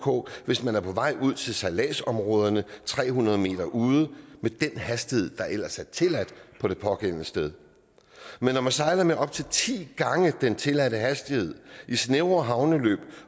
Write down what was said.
ok hvis man er på vej ud til sejladsområderne tre hundrede m ude med den hastighed der ellers er tilladt på det pågældende sted men når man sejler op til ti gange den tilladte hastighed i snævre havneløb